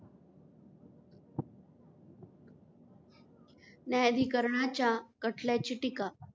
न्यायाधिकरणाच्या खटल्याची टीका.